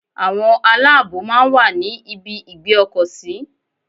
Àwọn aláàbòò máa ń wà ní ibi ìgbé ọkọ̀ sí.